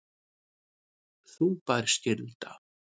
Þungbær skylda